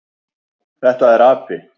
Þetta er api.